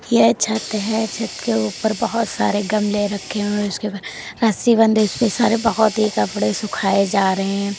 ये छत है छत के ऊपर बहुत सारे गमले रखे हुए हैं उसके ऊपर रस्सी बंधी उसपे सारे बहुत ही कपड़े सुखाए जा रहे हैं।